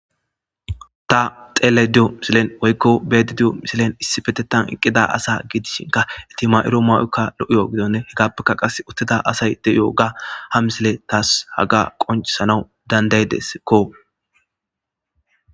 ta xele diyo misilen woykko bed diyo misilen issi fetetan eqqida asa giidishinka itima'iro ma'oka lo7iyo gidonne hegappeka qas uttida asay de7iyo ga hamsile taas haga qoncisanaw dandaydesekko